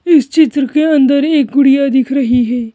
इस चित्र के अंदर एक गुड़िया दिख रही है।